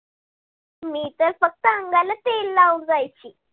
मी तर फक्त अंगाला तेल लाऊन जायची.